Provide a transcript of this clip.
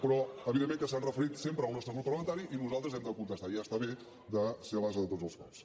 però evidentment que s’han referit sempre al nostre grup parlamentari i nosaltres hem de contestar ja està bé de ser l’ase de tots els cops